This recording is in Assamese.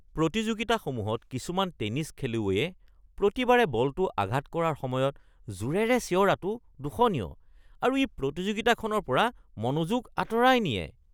প্ৰতিযোগিতাসমূহত কিছুমান টেনিছ খেলুৱৈয়ে প্ৰতিবাৰে বলটো আঘাত কৰাৰ সময়ত জোৰেৰে চিঞৰাটো দোষণীয় আৰু ই প্ৰতিযোগিতাখনৰ পৰা মনোযোগ আঁতৰাই নিয়ে।